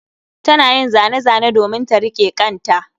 Tana yin zane-zane domin ta riƙe ƙanta